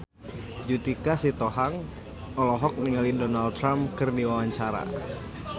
Judika Sitohang olohok ningali Donald Trump keur diwawancara